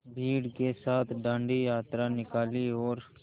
भीड़ के साथ डांडी यात्रा निकाली और